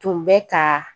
Tun bɛ ka